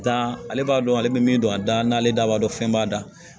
Dan ale b'a dɔn ale bɛ min don a da n'ale da b'a dɔn fɛn b'a da la